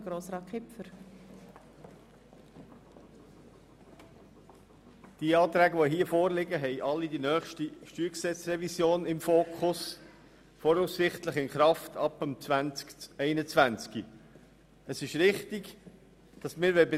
Die hier vorliegenden Planungserklärungen haben alle die nächste StG-Revision im Fokus, die voraussichtlich ab dem Jahr 2021 in Kraft sein wird.